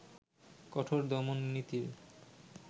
কঠোর দমননীতির